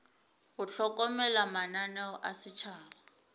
go hlokomela mananeo a setšhaba